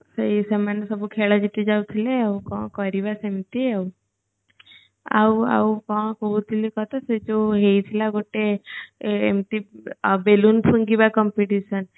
ସେଇ ସେମାନେ ସବୁ ଖେଳ ଜିତି ଯାଉଥିଲେ ଆଉ କଣ କରିବା ସେମିତି ଆଉ ଆଉ ଆଉ କଣ କହୁଥିଲି ତତେ ସେଯୋଉ ହେଇଥିଲା ଗୋଟେ ଏମିତି balloon ଫୁଙ୍କିବା competition